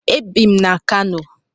Ebi m na Kano.